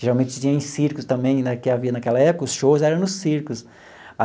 Geralmente você tinha em circos também né, que havia naquela época, os shows eram nos circos.